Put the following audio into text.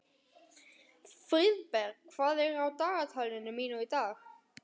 Friðberg, hvað er á dagatalinu mínu í dag?